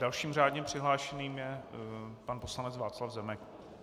Dalším řádně přihlášeným je pan poslanec Václav Zemek.